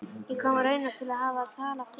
Ég kom raunar til að hafa tal af þér.